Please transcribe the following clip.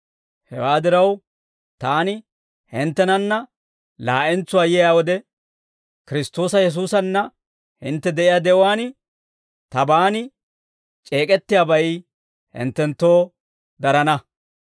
Hewaa diraw, taani hinttenanna laa'entsuwaa yiyaa wode, Kiristtoosa Yesuusanna hintte de'iyaa de'uwaan, tabaan c'eek'ettiyaabay hinttenttoo darana.